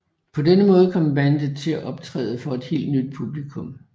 På denne måde kom bandet til at optræde for et helt nyt publikum